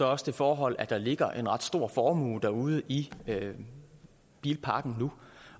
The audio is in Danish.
også det forhold at der ligger en ret stor formue derude i bilparken nu